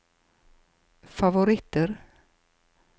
favoritter